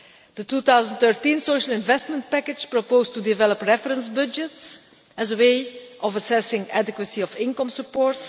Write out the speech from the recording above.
The 2013 Social investment package proposed to develop reference budgets as a way of assessing the adequacy of income support.